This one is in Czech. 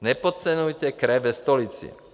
Nepodceňujte krev ve stolici.